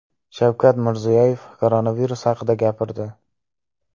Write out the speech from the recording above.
Shavkat Mirziyoyev koronavirus haqida gapirdi .